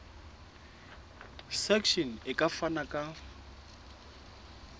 section e ka fana ka